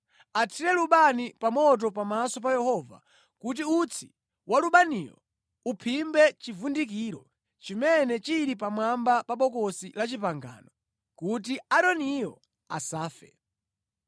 Athire lubani pa moto pamaso pa Yehova kuti utsi wa lubaniyo uphimbe chivundikiro chimene chili pamwamba pa Bokosi la Chipangano, kuti Aaroniyo asafe.